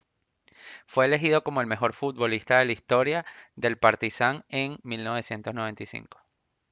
fue elegido como el mejor futbolista de la historia del partizan en 1995